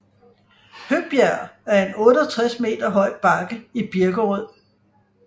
Høbjerg er en 68 meter høj bakke i Birkerød